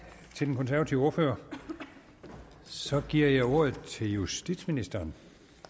til den konservative ordfører så giver jeg ordet til justitsministeren